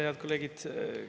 Head kolleegid!